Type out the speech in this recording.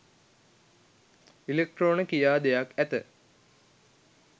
ඉලෙක්ට්‍රෝන කියා දෙයක් ඇත